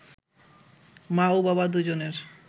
মা ও বাবা দুজনের